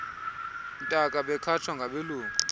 ntaka bekhatshwa ngabelungu